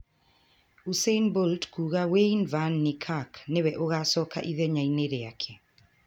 Usain Bolt kuuga Wayde van Niekerk nĩwe ũgaacoka ithenya-inĩ rĩake